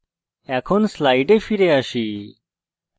slides ফিরে যাই